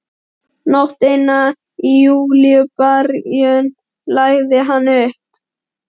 Nótt eina í júlíbyrjun lagði hann upp.